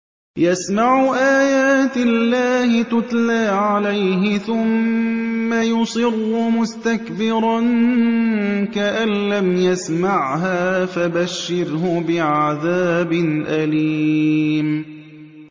يَسْمَعُ آيَاتِ اللَّهِ تُتْلَىٰ عَلَيْهِ ثُمَّ يُصِرُّ مُسْتَكْبِرًا كَأَن لَّمْ يَسْمَعْهَا ۖ فَبَشِّرْهُ بِعَذَابٍ أَلِيمٍ